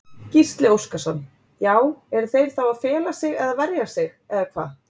Gísli Óskarsson: Já eru þeir þá að fela sig eða verja sig eða hvað?